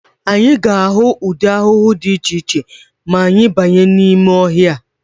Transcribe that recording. Anyị ga-ahụ ụdị ahụhụ dị iche iche ma anyị banye n'ime ọhịa.